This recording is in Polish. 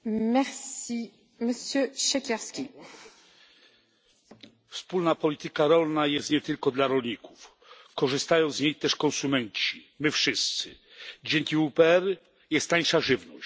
Pani Przewodnicząca! Wspólna polityka rolna jest nie tylko dla rolników. Korzystają z niej też konsumenci my wszyscy. Dzięki WPR jest tańsza żywność.